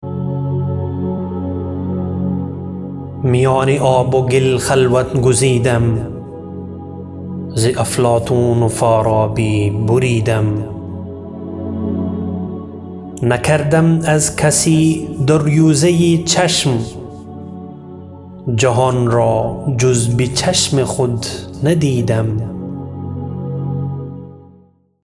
میان آب و گل خلوت گزیدم ز افلاطون و فارابی بریدم نکردم از کسی دریوزه چشم جهان را جز به چشم خود ندیدم